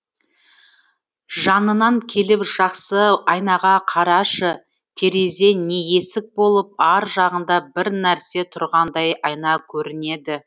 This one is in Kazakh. жанынан келіп жақсы айнаға қарашы терезе не есік болып ар жағында бір нәрсе тұрғандай айна көрінеді